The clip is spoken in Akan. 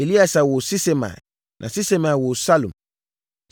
Eleasa woo Sisemai na Sisemai woo Salum.